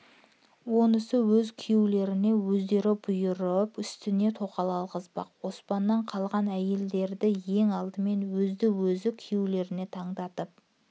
онысы өз кү-йеулеріне өздері бұйырып үстеріне тоқал алғызбақ оспаннан қалған әйелдерді ең алдымен өзді-өзі күйеулеріне таңдатып